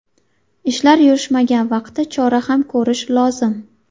Ishlar yurishmagan vaqtda chora ko‘rish lozim.